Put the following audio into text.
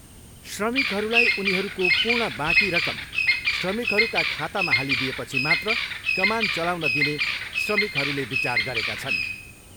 श्रमिकहरूलाई उनीहरूको पूर्ण बाँकी रकम श्रमिकहरूका खातामा हाली दिएपछि मात्र कमान चलाउन दिने श्रमिकहरूले विचार गरेका छन्।